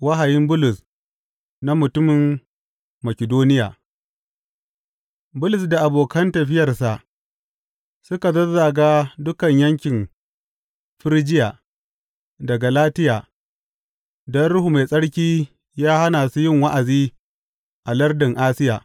Wahayin Bulus na mutumin Makidoniya Bulus da abokan tafiyarsa suka zazzaga dukan yankin Firjiya da Galatiya, don Ruhu Mai Tsarki ya hana su yin wa’azi a lardin Asiya.